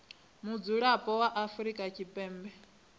mudzulapo wa afrika tshipembe a